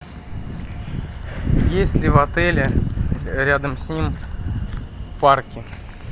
есть ли в отеле рядом с ним парки